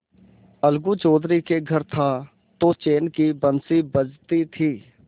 अलगू चौधरी के घर था तो चैन की बंशी बजती थी